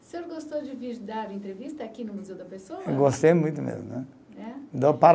O senhor gostou de vir dar entrevista aqui no Museu da Pessoa? Gostei muito mesmo, né. É?